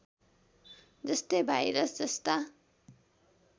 जस्तै भाइरस जस्ता